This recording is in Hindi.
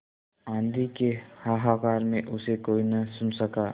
आँधी के हाहाकार में उसे कोई न सुन सका